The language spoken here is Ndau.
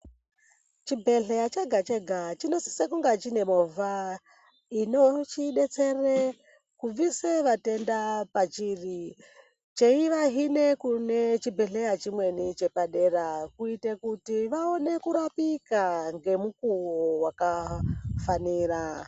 Chibhedhlera chega -chega chinosise kunge chine movha inochidetsere kubvise vatenda pachiri cheivahinde kune chimweni chibhedhlera chepa dera kuite kuti vaone kurapika ngemukowo wakafanira.